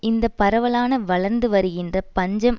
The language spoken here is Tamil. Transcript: இந்த பரவலான வளர்ந்து வருகின்ற பஞ்சம்